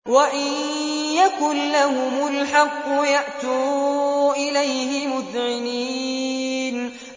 وَإِن يَكُن لَّهُمُ الْحَقُّ يَأْتُوا إِلَيْهِ مُذْعِنِينَ